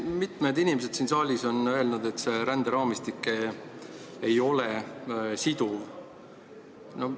Mitu inimest siin saalis on öelnud, et see ränderaamistik ei ole siduv.